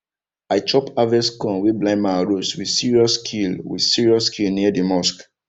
i chop harvest corn wey blind man roast with serious skill with serious skill near the mosque